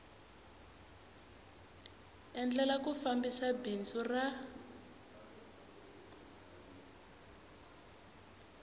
endlela ku fambisa bindzu ra